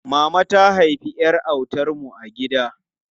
Mama ta haifi ƴar autan mu a gida.